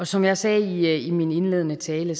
som jeg sagde i min indledende tale